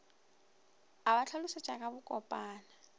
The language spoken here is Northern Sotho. a ba hlalošetša ka bokopana